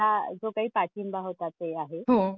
जो काही पाठिंबा होता ते आहे. हो